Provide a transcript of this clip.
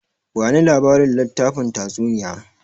Bani labarin littafin tatsuniyar!